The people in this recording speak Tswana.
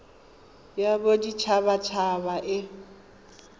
ya bodit habat haba e